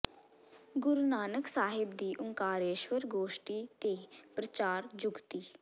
ਗੁਰੂ ਨਾਨਕ ਸਾਹਿਬ ਦੀ ਓਅੰਕਾਰੇਸ਼੍ਵਰ ਗੋਸ਼ਟੀ ਤੇ ਪ੍ਰਚਾਰ ਜੁਗਤਿ